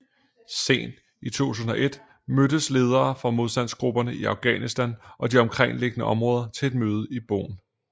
Sent i 2001 mødtes ledere fra modstandsgrupperne i Afghanistan og de omkringliggende områder til et mødte i Bonn